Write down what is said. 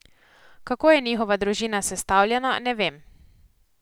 Kako je njihova družina sestavljena, ne vem.